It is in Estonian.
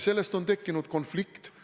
Sellest on tekkinud konflikt.